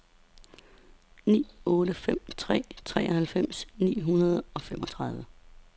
ni otte fem tre treoghalvfems ni hundrede og femogtredive